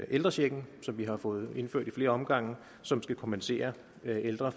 ældrechecken som vi har fået indført ad flere omgange og som skal kompensere ældre